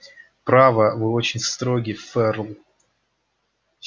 право вы очень строги ферл